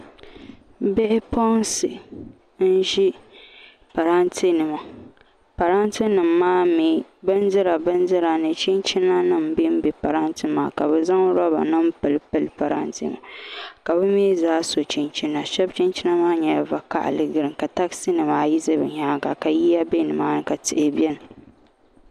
Bɛ puɣinsi n ziri parantɛnima bindira bindira ni chinchina nim n bɛ parantɛ nim maani ka bi zan roobanim n pili pili parantɛnimaa ka bɛ zaa so chinchina ka chinchina ka china maa mi nya za'ɣ vakahali ka tɛzi ni maa ayi bɛ nimaana ka yiya bɛ nimaani